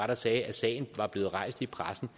der sagde at sagen var blevet rejst i pressen